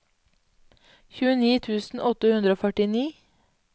tjueni tusen åtte hundre og førtini